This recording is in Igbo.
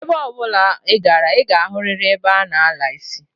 Ebe obula I gara, I ga-ahuriri ebe a na-ala isi.